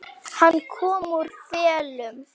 Hann kom úr felum.